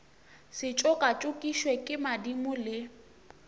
se tšokatšokišwe ke madimo le